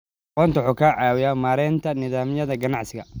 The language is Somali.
Aqoonsigu wuxuu ka caawiyaa maaraynta nidaamyada ganacsiga.